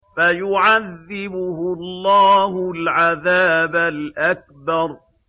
فَيُعَذِّبُهُ اللَّهُ الْعَذَابَ الْأَكْبَرَ